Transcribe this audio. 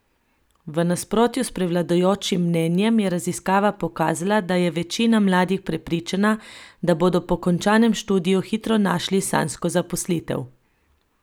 V nasprotju s prevladujočim mnenjem je raziskava pokazala, da je večina mladih prepričana, da bodo po končanem študiju hitro našli sanjsko zaposlitev.